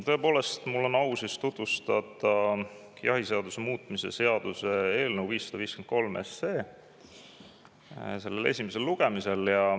Tõepoolest, mul on au tutvustada jahiseaduse muutmise seaduse eelnõu 553 selle esimesel lugemisel.